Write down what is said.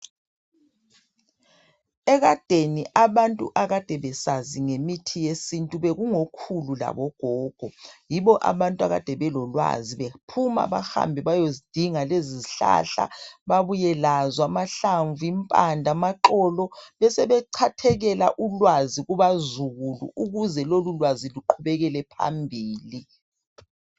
Ekadeni abantu akade besazi ngemithi yesintu bekungokhulu labogogo. Yibo abantu akede belolwazi bephuma bahambe bayozidinga lezi zihlahla babuye lazo amahlamvu, impande, amaxolo besebechathekela ulwazi kubazukulu ukuze lolulwazi luqhubekele phambili.